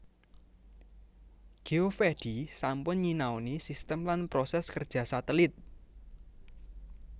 Geovedi sampun nyinaoni sistem lan proses kerja satelit